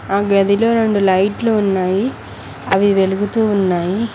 ఆ గదిలో రెండు లైట్లు ఉన్నాయి అవి వెలుగుతూ ఉన్నాయి.